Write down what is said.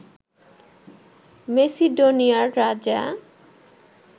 মেসিডোনিয়ার রাজা